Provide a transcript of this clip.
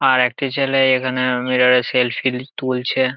আর একটি ছেলে এখানে মিরর -এ সেল্ফি ল তুলছে ।